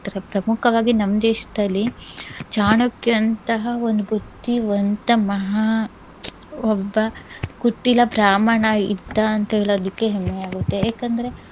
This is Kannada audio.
ಪ್ರಮುಖವಾಗಿ ನಮ್ ದೇಶದಲ್ಲಿ ಚಾಣಕ್ಯ ಅಂತಹ ಒಂದ್ ಬುದ್ಧಿವಂತ ಮಹಾ ಒಬ್ಬ ಕುಟಿಲ ಬ್ರಾಹ್ಮಣ ಇದ್ದ ಅಂತ್ ಹೇಳದಿಕ್ಕೆ ಹೆಮ್ಮೆಯಾಗುತ್ತೆ ಯಾಕಂದ್ರೆ